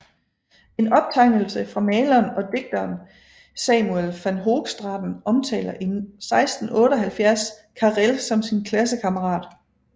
En optegnelse fra maleren og digteren Samuel van Hoogstraten omtaler i 1678 Carel som sin klassekammerat